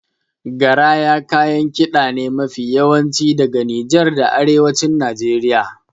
Garaya kayan kiɗa ne mafi yawanci daga Nijar da Arewacin Najeriya.